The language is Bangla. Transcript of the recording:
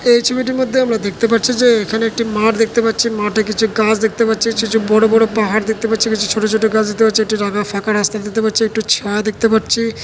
এই ছবিটির মধ্যে আমরা দেখতে পারছি যে এখানে একটি মাঠ দেখতে পাচ্ছি মাঠে কিছু গাছ দেখতে পাচ্ছি কিছু কিছু বড়ো বড়ো পাহাড় দেখতে পাচ্ছি কিছু ছোট ছোট গাছ দেখতে পাচ্ছি একটি রাঙা ফাঁকা রাস্তা দেখতে পাচ্ছি একটু ছায়া দেখতে পাচ্ছি।